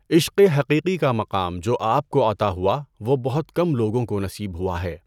عشق حقیقی کا مقام جو آپ کو عطا ہوا وه بہت کم لوگوں کو نصیب ہوا ہے۔